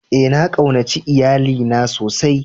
Ee, na kaunace lyalli na sosai.